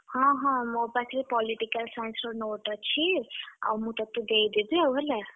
ହଁ ହଁ ମୋ ପାଖରେ Political Science ର note ଅଛି। ଆଉ ମୁଁ ତତେ ଦେଇଦେବି ଆଉ ହେଲା।